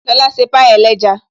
Lóla ṣe pie ẹlẹ́ja